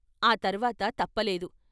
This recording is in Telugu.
ఆ తర్వాత తప్పలేదు.